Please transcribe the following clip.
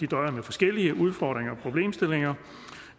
døjer med forskellige udfordringer og problemstillinger